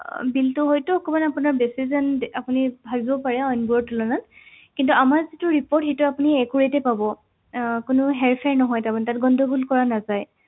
আহ Bill তো হয়তো অকণমান আপোনাৰ বেছি যেন আপুনি ভাবিব পাৰে অইনবোৰৰ তুলনাত কিন্তু আমাৰ যিটো report সেইটো accurate এ পাব আহ কোনো হেৰফেৰ নহয় তাৰমানে তাত গণ্ডগোল কৰা নাযায়